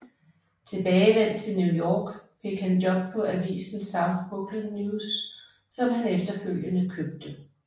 Tilbagevendt til New York fik han job på avisen South Brooklyn News som han efterfølgende købte